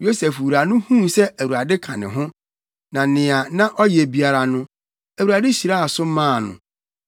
Yosef wura no huu sɛ Awurade ka ne ho, na nea na ɔyɛ biara no, Awurade hyiraa so maa no, na